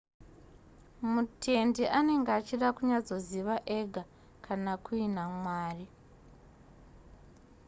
mutendi anenge achida kunyatsoziva ega kana kuina mwari